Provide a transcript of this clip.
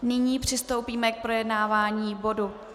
Nyní přistoupíme k projednávání bodu